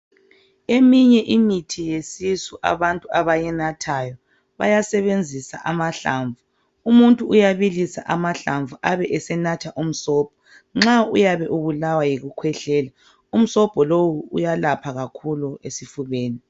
Eminye imithi yesisu abantu abayinathayo bayasebenzisa amahlamvu umuntu uyabilisa amahlamvu abe esenatha umsobho nxa uyabe ubulawa yikukhwehlela umsobho lowu uyalapha kakhulu esifubeni